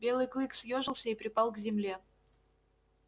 белый клык съёжился и припал к земле